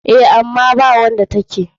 Eh, ama bawanda take.